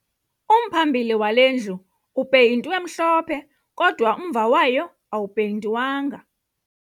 Umphambili wale ndlu upeyintwe mhlophe kodwa umva wayo awupeyintwanga